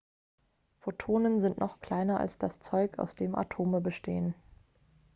photonen sind noch kleiner als das zeug aus dem atome bestehen